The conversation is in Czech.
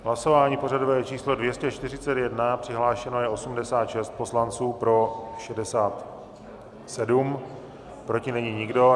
Hlasování pořadové číslo 241, přihlášeno je 86 poslanců, pro 67, proti není nikdo.